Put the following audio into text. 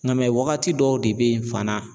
Nga mɛ wagati dɔw de bɛ yen fana